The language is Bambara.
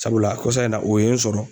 Sabula kɔsa in na o ye n sɔrɔ.